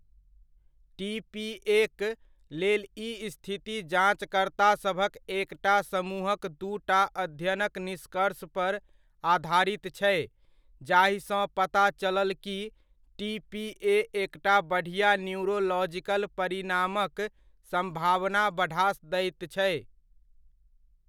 टीपीएक लेल ई स्थिति जांचकर्तासभक एकटा समूहक दूटा अध्ययनक निष्कर्ष पर आधारित छै जाहिसँ पता चलल कि टीपीए एकटा बढियाँ न्यूरोलॉजिकल परिणामक सम्भावना बढ़ा दैत छै।